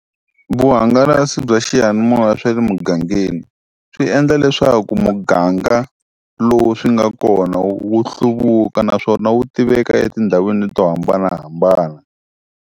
Vuhungalasi bya xiyanimoya swa le mugangeni, swi endla leswaku muganga lowu swi nga kona wu wu hluvuka naswona wu tiveka etindhawini to hambanahambana.